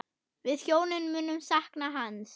Við hjónin munum sakna hans.